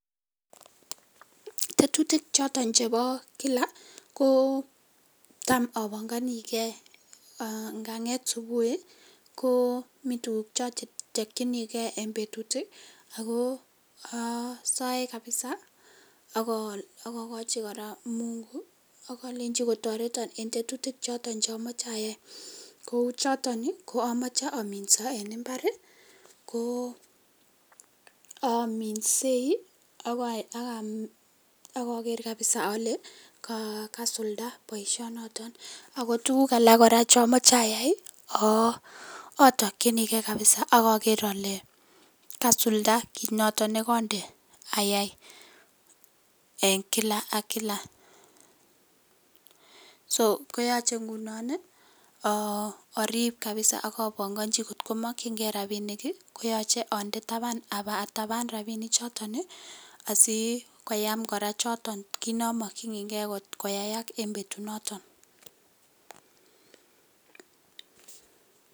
Tetutik chotoon chebo kila ko taam ananganigei naan ngeet subui ii ko mii tuguuk che achapchikei en betuut ii ago aasaye kabisa agagachi kora Mungu ii agalechii kotaretan en tetutik chotoon che amachei ayai ,kou chotoon ii ko amache aminsaa en mbaar ko aminsei agaa ger kabisa ale kasuldaa boisionoton ago tuguuk alaak kora che amache ayai atakyinigei kabisa ak ager ale kasuldaa kiit notoon ne kandei ayai eng kila ak kila ,so koyachei ngunoon ii aariip kabisaa akapangachii koot ko makyingei rapinik ii koyachei atabaan chotoon ii asikoyaam kora chotoon, kiit na makyinigei koyaak en betuut noton.